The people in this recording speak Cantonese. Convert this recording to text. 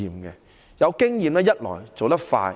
第一，有經驗可以做得快。